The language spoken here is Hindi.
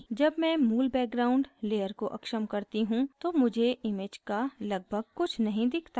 जब मैं मूल background layer को अक्षम करती हूँ तो मुझे image का लगभग कुछ नहीं दिखता है